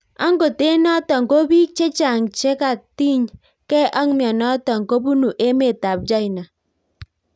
Angot eng notok ko piik chechang chekatiny gei ak mianitok kobunu emeet chaina